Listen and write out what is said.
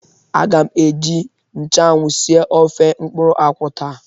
Aga m eji nchanwụ sie ofe mkpụrụ akwụ taa.